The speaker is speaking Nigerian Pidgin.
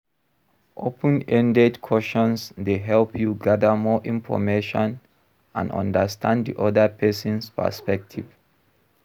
Open-ended questions dey help you gather more information and understand di oda pesin's perspective.